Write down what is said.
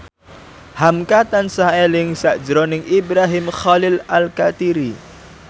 hamka tansah eling sakjroning Ibrahim Khalil Alkatiri